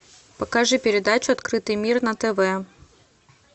покажи передачу открытый мир на тв